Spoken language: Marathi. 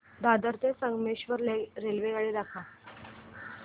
दादर ते संगमेश्वर रेल्वेगाडी दाखव